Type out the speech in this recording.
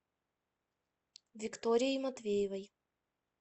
викторией матвеевой